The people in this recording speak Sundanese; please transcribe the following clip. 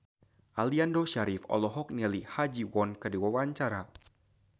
Aliando Syarif olohok ningali Ha Ji Won keur diwawancara